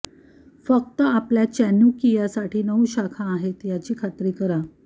फक्त आपल्या चॅनुकियासाठी नऊ शाखा आहेत याची खात्री करा